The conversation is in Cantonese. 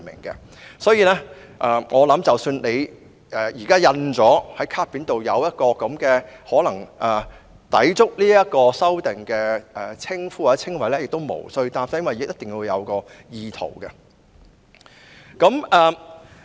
因此，我相信即使現時卡片上已印有可能抵觸有關修訂的名稱或稱謂也不必擔心，因為還要視乎意圖這因素。